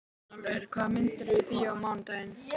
Björnólfur, hvaða myndir eru í bíó á mánudaginn?